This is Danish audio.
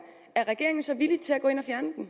er regeringen så villig til at gå ind